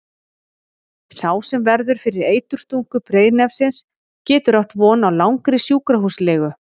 Sá sem verður fyrir eiturstungu breiðnefsins getur átt von á langri sjúkrahúslegu.